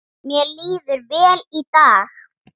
Mér líður vel í dag